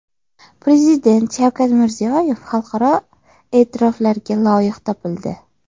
Prezident Shavkat Mirziyoyev xalqaro e’tiroflarga loyiq topildi.